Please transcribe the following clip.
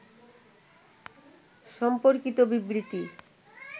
সম্পর্কিত বিবৃতি